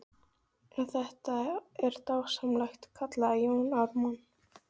En þetta er dásamlegt, kallaði Jón Ármann.